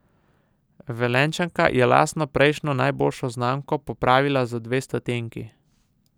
Velenjčanka je lastno prejšnjo najboljšo znamko popravila za dve stotinki.